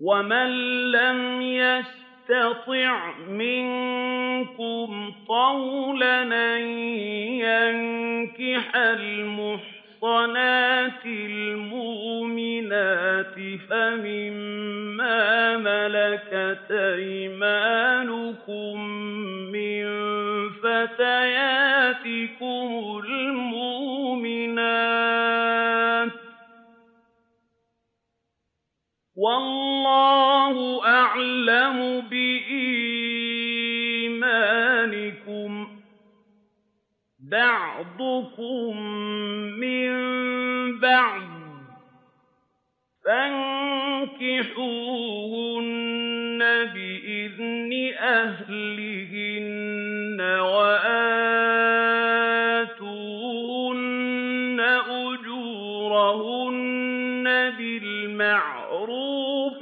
وَمَن لَّمْ يَسْتَطِعْ مِنكُمْ طَوْلًا أَن يَنكِحَ الْمُحْصَنَاتِ الْمُؤْمِنَاتِ فَمِن مَّا مَلَكَتْ أَيْمَانُكُم مِّن فَتَيَاتِكُمُ الْمُؤْمِنَاتِ ۚ وَاللَّهُ أَعْلَمُ بِإِيمَانِكُم ۚ بَعْضُكُم مِّن بَعْضٍ ۚ فَانكِحُوهُنَّ بِإِذْنِ أَهْلِهِنَّ وَآتُوهُنَّ أُجُورَهُنَّ بِالْمَعْرُوفِ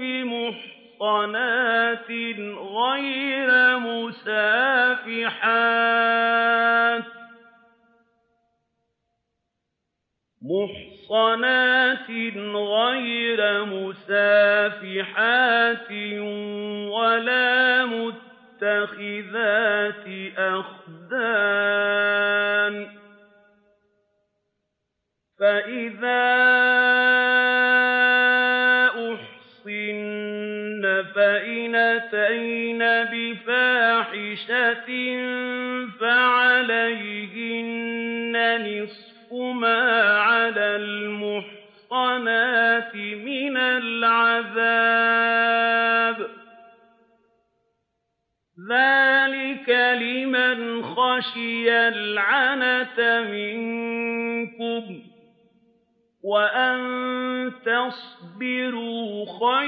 مُحْصَنَاتٍ غَيْرَ مُسَافِحَاتٍ وَلَا مُتَّخِذَاتِ أَخْدَانٍ ۚ فَإِذَا أُحْصِنَّ فَإِنْ أَتَيْنَ بِفَاحِشَةٍ فَعَلَيْهِنَّ نِصْفُ مَا عَلَى الْمُحْصَنَاتِ مِنَ الْعَذَابِ ۚ ذَٰلِكَ لِمَنْ خَشِيَ الْعَنَتَ مِنكُمْ ۚ وَأَن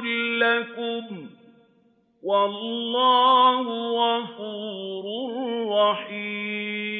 تَصْبِرُوا خَيْرٌ لَّكُمْ ۗ وَاللَّهُ غَفُورٌ رَّحِيمٌ